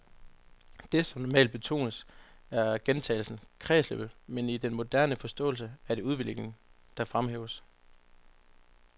Det, som normalt betones, er gentagelsen, kredsløbet, men i den moderne forståelse er det udviklingen, der fremhæves.